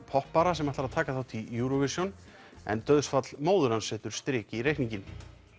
poppara sem ætlar að taka þátt í Eurovision en dauðsfall móður hans setur strik í reikninginn